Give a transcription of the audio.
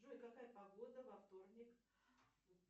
джой какая погода во вторник